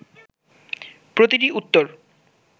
প্রতিটি উত্তর